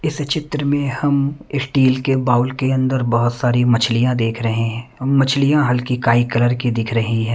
इस चित्र में हम स्टील के बाउल के अंदर बहुत सारी मछलियां देख रहे हैं मछलियां हल्की काई कलर की दिख रही ।